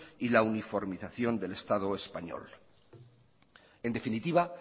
y la uniformización del estado español en definitiva